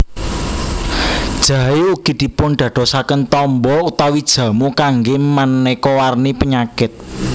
Jahé ugi dipundadosaken tamba utawi jamu kanggé manéka warni penyakit